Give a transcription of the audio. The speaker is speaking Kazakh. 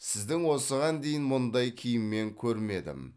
сіздің осыған дейін мұндай киіммен көрмедім